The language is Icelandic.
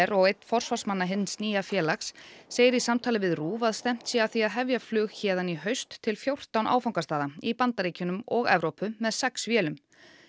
og einn forsvarsmanna hins nýja félags segir í samtali við RÚV að stefnt sé að því að hefja flug héðan í haust til fjórtán áfangastaða í Bandaríkjunum og Evrópu með sex vélum